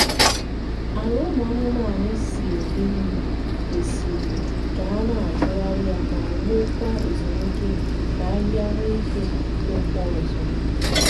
ala ụmụ anụmanụ si eri nri kwesị k’ana atugharị ya ma nwe kwa ezumike ka ahịhịa nwe ike tokwa ọzọ